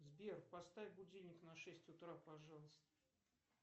сбер поставь будильник на шесть утра пожалуйста